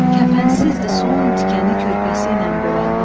Kəfənsizdir son tikəni körpəsi ilə bölənlər.